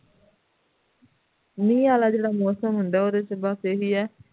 ਮੀਂਹ ਵਾਲਾ ਜੋੜਾ ਮੌਸਮ ਹੁੰਦਾ ਹੈ